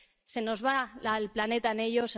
Se nos va el planeta en ello.